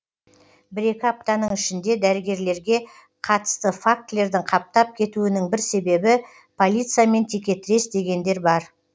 бір екі аптаның ішінде дәрігерлерге қатысты фактілердің қаптап кетуінің бір себебі полициямен текетірес дегендер бар